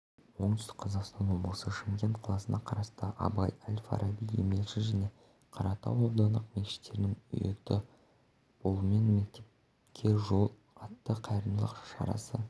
оңтүстік қазақстан облысы шымкент қаласына қарасты абай әл фараби еңбекші және қаратау аудандық мешіттерінің ұйытқы болуымен мектепке жол атты қайырымдылық шарасы